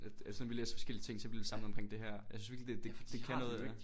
At at selvom vi læser forskellige ting så bliver vi samlet omkring det her jeg synes virkelig det det kan noget